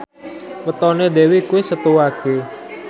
wetone Dewi kuwi Setu Wage